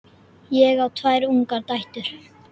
Ég á tvær ungar dætur.